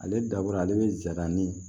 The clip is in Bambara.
Ale dabɔra ale bɛ zaban ni